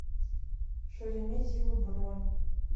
шереметьево бронь